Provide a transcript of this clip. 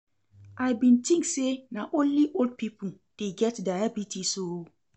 I bin tink sey na only old pipo dey get diabetes o.